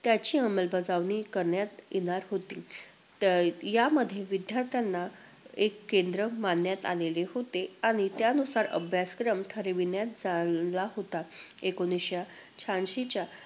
त्याची अंमलबजावणी करण्यात येणार होती. त अं यामध्ये विद्यार्थ्यांना एक केंद्र मानण्यात आलेले होते. आणि त्यानुसार अभ्यासक्रम ठरविण्यात आला होता. एकोणवीसशे शहाऐंशीच्या